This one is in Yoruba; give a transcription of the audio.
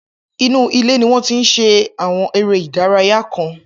Inú ilé ni wọ́n ti ń ṣe Àwọn eré ìdárayá kan